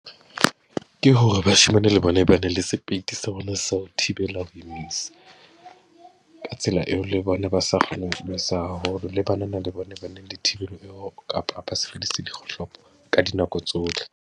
Ke hore bashemane le bona ba ne le sepeiti sa bona sa ho thibela ho imisa. Ka tsela eo le bona ba sa kgoneng ho imisa haholo, le banana le bona ba , kapa ba sebedise dikgohlopo ka dinako tsohle.